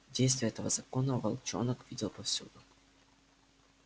действие этого закона волчонок видел повсюду